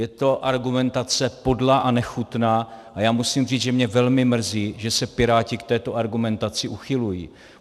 Je to argumentace podlá a nechutná, a já musím říct, že mě velmi mrzí, že se piráti k této argumentaci uchylují.